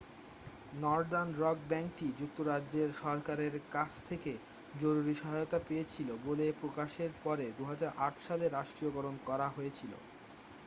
northern rock ব্যাংকটি যুক্তরাজ্যের সরকারের কাছ থেকে জরুরি সহায়তা পেয়েছিল বলে প্রকাশের পরে 2008 সালে রাষ্ট্রীয়করণ করা হয়েছিল